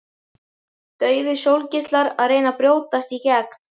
Daufir sólgeislar að reyna að brjótast í gegn.